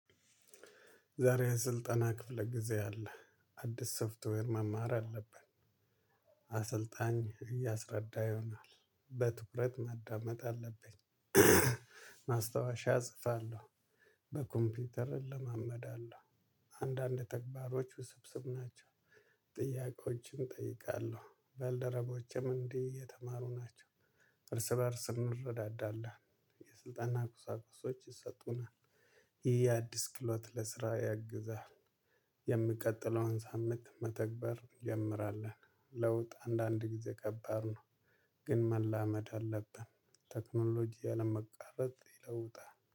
ዛሬ ስልጠና ክፍለ ጊዜ አለ። አዲስ ሶፍትዌር ማማር አለብን። አሰልጣኝ እያሰረዳ ይሆናል በትኩረት ማዳመጥ አለብኝ ማስታወሻ እጽፋለሁ፣ በኮምፒውተር እለማመዳለሁ አንዳንድ ተግባሮች ውስብስብ ናቸው። ጥያቄዎችን እጠይቃለሁ ባልደረቦችም እንዲህ የተማሩ ናቸው እርስ በእርስ እንረዳዳለን። የስልጠና ቁሳቁሶች ይሰጡናል ይህ አዲስ ክሎት ለስራ ያግዛል። የምቀጥለውን ሳምንት መተግበር እንጀምራለን ለውጥ አንዳንድ ጊዜ ከባድ ነው ግን መላመድ አለብን ቴክኖሎጂ አለመቃረጽ ይለውጣል